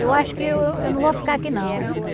Eu acho que eu eu não vou ficar aqui não.